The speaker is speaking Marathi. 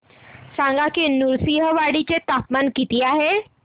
सांगा की नृसिंहवाडी चे तापमान किती आहे